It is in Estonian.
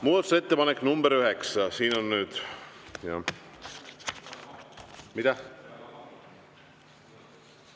Muudatusettepanek nr 9. Mida?